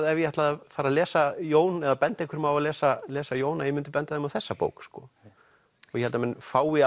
ef ég ætlaði að fara að lesa Jón eða benda einhverjum á að lesa lesa Jón að ég myndi benda þeim á þessa bók sko ég held að menn fái